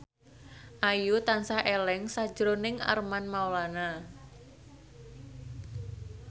Ayu tansah eling sakjroning Armand Maulana